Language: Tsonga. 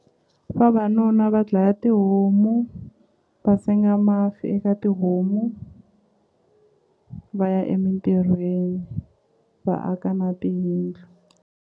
Vavanuna va dlaya tihomu va senga masi eka tihomu va ya emintirhweni va aka na tiyindlu.